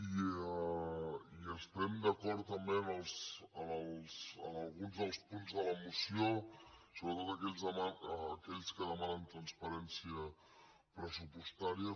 i estem d’acord també en alguns dels punts de la moció sobretot en aquells que demanen transparència pressupostària